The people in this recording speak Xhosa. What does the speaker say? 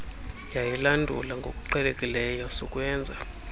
yayilandula ngokuqhelekileyo sukwenza